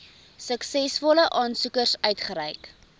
suksesvolle aansoekers uitgereik